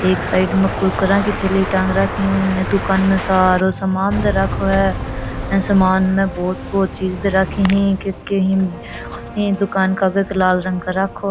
एक साइड में कुरकुरा की थैली टांग रखी है ये दुकान में सारो सामान धर राखो है अ सामान में बहुत चीज धर राखी है के के ही बेरों कोणी है दुकान के आगे के लाल रंग कर राखो है।